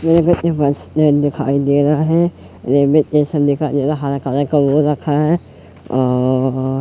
बस स्टैंड दिखाई दे रहा है रेलवे स्टेशन दिखाई दे रहा है हरा कलर का वो रखा है और--